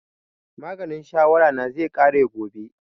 Maganin shawara na zai ƙare gobe